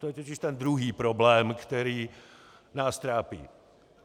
To je totiž ten druhý problém, který nás trápí.